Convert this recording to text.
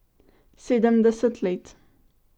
Sedemdeset let.